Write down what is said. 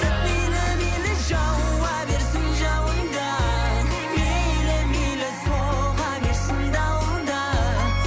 мейлі мейлі жауа берсін жауын да мейлі мейлі соға берсін дауыл да